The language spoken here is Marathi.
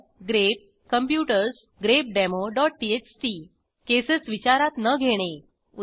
ग्रेप कॉम्प्युटर्स grepdemoटीएक्सटी casesविचारात न घेणे उदा